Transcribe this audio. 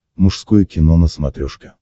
мужское кино на смотрешке